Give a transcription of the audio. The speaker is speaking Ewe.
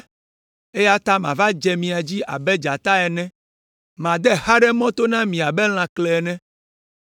eya ta mava dze mia dzi abe dzata ene, made xa ɖe mɔ to na mi abe lãklẽ ene.